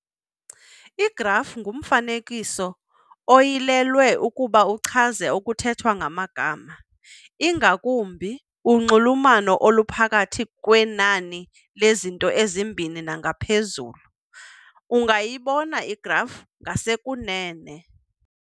Igraf ngumfanekiso oyilelwe ukuba uchaze okuthethwa ngamagama, ingakumbi unxulumano oluphakathi kwenani lezinto ezimbini nangaphezulu. ungayibona igraf ngasekunene.